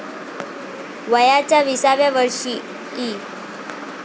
वयाच्या विसाव्या वर्षी, इ.